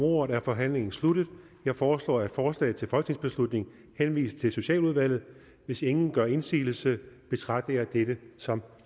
ordet er forhandlingen sluttet jeg foreslår at forslaget til folketingsbeslutning henvises til socialudvalget hvis ingen gør indsigelse betragter jeg dette som